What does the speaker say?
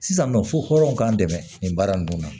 Sisan nɔ fo hɔrɔn k'an dɛmɛ nin baara ninnu na